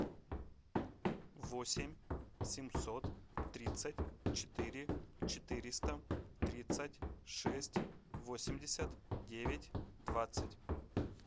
восемь семьсот тридцать четыре четыреста тридцать шесть восемьдесят девять двадцать